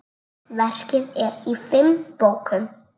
Verkið er í fimm bókum.